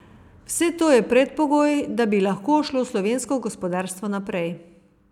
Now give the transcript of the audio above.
Vse to je predpogoj, da bi lahko šlo slovensko gospodarstvo naprej.